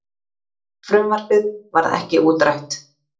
Frumvarpið varð ekki útrætt.